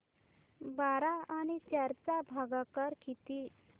बारा आणि चार चा भागाकर किती